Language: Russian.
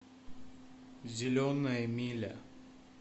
зеленая миля